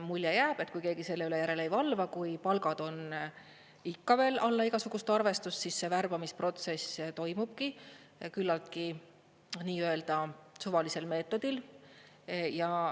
Mulje jääb, et kui keegi selle üle järele ei valva, kui palgad on ikka veel alla igasugust arvestust, siis värbamisprotsess toimubki küllaltki nii-öelda suvalisel meetodil.